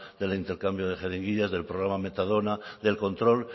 del intercambio de jeringuillas del problema metadona del control